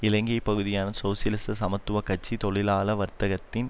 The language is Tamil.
இலங்கை பகுதியான சோசியலிச சமத்துவ கட்சியை தொழிலாள வர்த்தகத்தின்